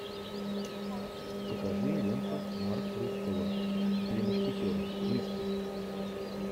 покажи ленту марк руффало три мушкетера микки